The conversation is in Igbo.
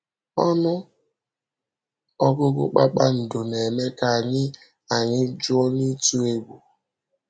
Ọnụ ọgụgụ kpakpando na-eme ka anyị anyị juo n’ịtụ egwu.